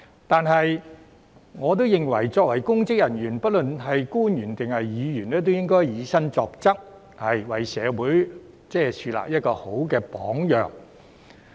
但是，我亦認為作為公職人員，不論是官員或議員，均應以身作則，為社會樹立好榜樣。